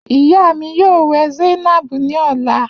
Iya mi yoo wẹ zainab ni ọla.